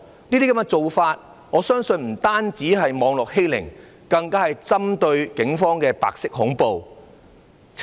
這些做法我相信不單是網絡欺凌，更是針對警方的白色恐怖。